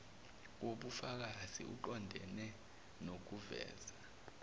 wobufakazi uqondene nokuveza